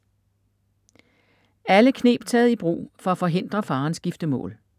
Alle kneb taget i brug for at forhindre faderens giftemål